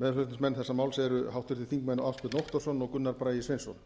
meðflutningsmenn þessa máls eru háttvirtir þingmenn ásbjörn óttarsson og gunnar bragi sveinsson